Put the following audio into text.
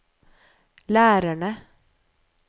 lærerne